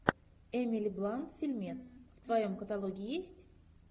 эмили блант фильмец в твоем каталоге есть